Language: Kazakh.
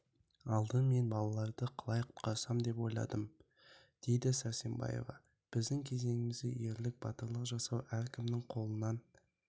алдымен мен балаларды қалай құтқарсам деп ойладым дейді сәрсенбаева біздің кезеңімізде ерлік батырлық жасау әркімнің қолынан